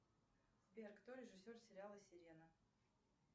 сбер кто режиссер сериала сирена